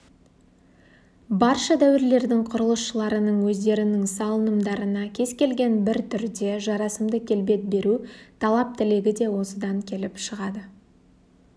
барша дәуірлердің құрылысшыларының өздерінің салынымдарына кез келген бір түрде жарасымды келбет беру талап-тілегі де осыдан келіп шығады